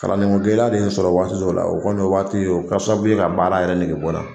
Kalanden ko gɛlɛya de ye n sɔrɔ waati dɔw la, o kɔni o waati o kɛra sababu ye ka baara yɛrɛ nege bɔ n la